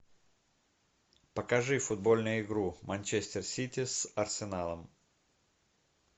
покажи футбольную игру манчестер сити с арсеналом